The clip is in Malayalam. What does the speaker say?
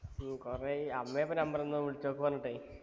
ഹും കൊറേയായി അമ്മെയാ ഇപ്പൊ number തന്നെ വിളിച്ചോക്ക് പറഞ്ഞിട്ടേ